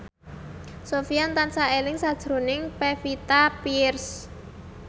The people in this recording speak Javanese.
Sofyan tansah eling sakjroning Pevita Pearce